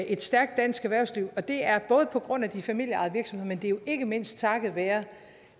et stærkt dansk erhvervsliv og det er både på grund af de familieejede virksomheder men det er jo ikke mindst takket være